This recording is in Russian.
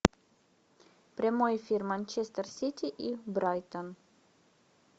прямой эфир манчестер сити и брайтон